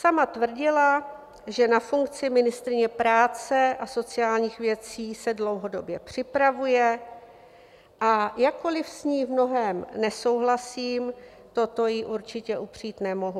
Sama tvrdila, že na funkci ministryně práce a sociálních věcí se dlouhodobě připravuje, a jakkoliv s ní v mnohém nesouhlasím, toto jí určitě upřít nemohu.